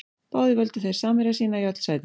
Báðir völdu þeir samherja sína í öll sætin.